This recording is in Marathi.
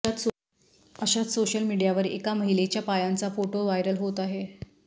अशात सोशल मीडियावर एका महिलेच्या पायांचा फोटो व्हायरल होत आहे